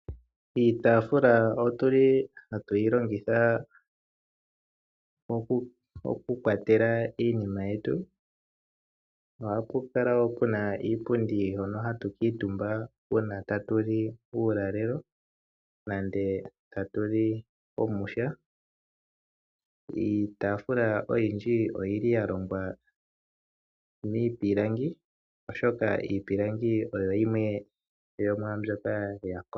Iitaafula ohatu yi longitha okukwatela iinima yetu. Ohapu kala wo pu na iipundi hono hatu kuutumba uuna tatu li uulalelo nenge tatu li omwiha. Iitaafula oyindji oya longwa miipilangi, oshoka iipilangi oyo yimwe yomwaa mbyoka ya kola.